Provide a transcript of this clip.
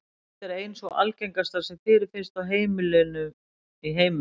Þessi tegund er ein sú algengasta sem fyrirfinnst á heimilum í heiminum.